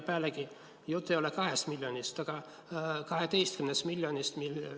Pealegi, jutt ei ole 2 miljonist, vaid 12 miljonist.